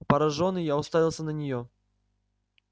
поражённый я уставился на неё